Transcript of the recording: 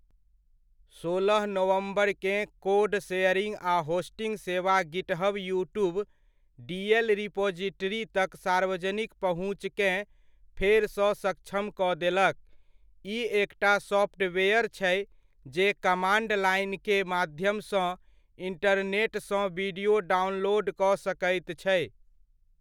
सोलह नवम्बरकेँ code sharing आ होस्टिंग सेवा गिटहब युट्यूब डीएल रिपॉजिटरी तक सार्वजनिक पहुँचकेँ फेरसँ सक्षम कऽ देलक, ई एकटा सॉफ्टवेयर छै जे कमाण्ड लाइन के माध्यमसँ इंटरनेटसँ वीडियो डाउनलोड कऽ सकैत छै।